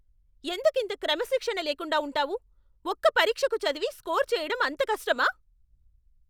ఎందుకింత క్రమశిక్షణ లేకుండా ఉంటావు? ఒక్క పరీక్షకు చదివి స్కోర్ చేయడం అంత కష్టమా?